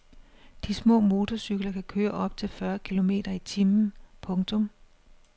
De små motorcykler kan køre op til fyrre kilometer i timen. punktum